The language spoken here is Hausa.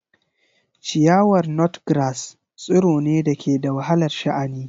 Ciyawar Nutgrass tsiro ne da ke da wahalar sha'ani.